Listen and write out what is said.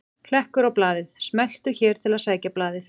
Hlekkur á blaðið: Smelltu hér til að sækja blaðið